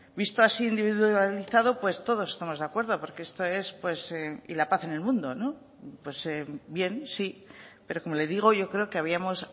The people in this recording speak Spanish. visto así individualizado pues todos estamos de acuerdo porque esto es pues y la paz en el mundo pues bien sí pero como le digo yo creo que habíamos